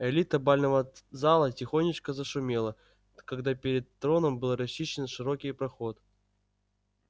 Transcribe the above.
элита бального зала тихонечко зашумела когда перед троном был расчищен широкий проход